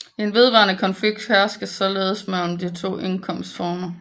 En vedvarende konflikt hersker således mellem de to indkomstformer